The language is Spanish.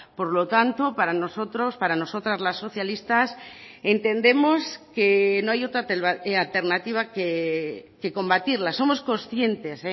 por lo tanto para nosotros para nosotras las socialistas entendemos que no hay otra alternativa que combatirla somos conscientes